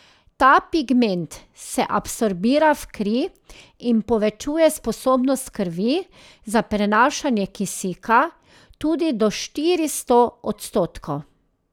Ta pigment se absorbira v kri in povečuje sposobnost krvi za prenašanje kisika tudi do štiristo odstotkov.